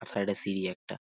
আর side এ সিঁড়ি একটা।